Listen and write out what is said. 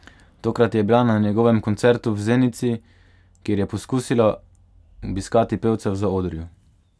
Tokrat je bila na njegovem koncertu v Zenici, kjer je poskusila obiskati pevca v zaodrju.